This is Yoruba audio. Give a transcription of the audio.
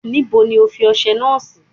Níbo ni O fi ọsẹ náà sí?